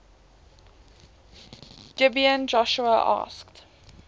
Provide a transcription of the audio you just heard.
gibeon joshua asked